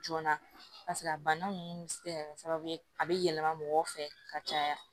Joona a bana ninnu bɛ se ka kɛ sababu ye a bɛ yɛlɛma mɔgɔw fɛ ka caya